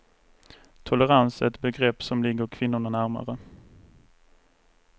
Tolerans är ett begrepp som ligger kvinnorna närmare.